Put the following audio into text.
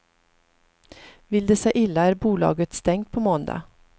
Vill det sig illa är bolaget stängt på måndag.